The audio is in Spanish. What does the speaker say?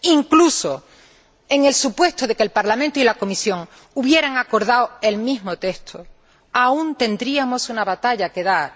Incluso en el supuesto de que el Parlamento y la Comisión hubieran acordado el mismo texto, aún tendríamos una batalla que dar.